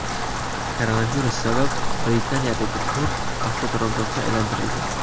Koronavirus sabab Britaniyadagi port avtoturargohga aylantirildi.